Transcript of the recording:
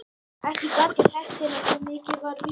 Ekki gat ég sagt til hans, svo mikið var víst.